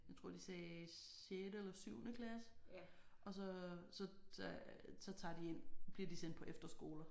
Jeg tror de sagde sjette eller syvende klasse og så så så så tager de ind bliver de sendt på efterskoler